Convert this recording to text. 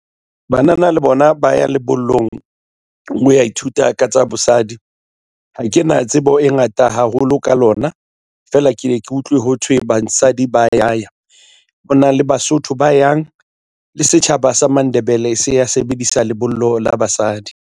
Banana le bona ba ya lebollong ho ya ithuta ka tsa bosadi. Ha ke na tsebo e ngata haholo ka lona feela ke ye ke utlwe ho thwe basadi ba ya ya ho na le Basotho ba yang le setjhaba sa Mandebele se ya sebedisa lebollo la basadi.